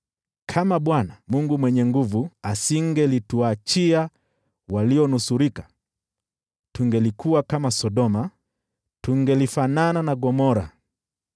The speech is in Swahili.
Kama Bwana Mungu Mwenye Nguvu Zote asingelituachia walionusurika, tungelikuwa kama Sodoma, tungelifanana na Gomora.